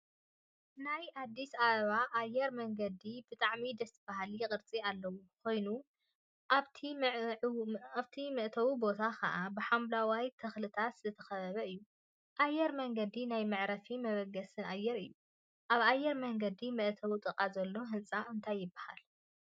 ናይ አዲስ አበባ አየር መንገድ ብጣዕሚ ደስ በሃሊ ቅርፂ ዘለዎ ኮይኑ፤ አብቲ መእተዊ ቦታ ከዓ ብሓምለዋይ ተክሊታት ዝተከበበ እዩ፡፡ አየር መንገድ ናይ መዕረፊን መበገሲን አየር እዩ፡፡ አብ አየር መንገድ መእተዊ ጥቃ ዘሎ ህንፃ እንታይ ይበሃል?